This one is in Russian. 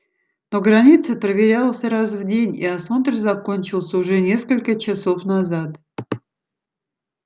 то граница проверялась раз в день и осмотр закончился уже несколько часов назад